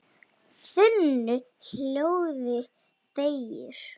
þunnu hljóði þegir